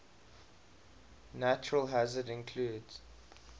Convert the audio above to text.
natural hazards include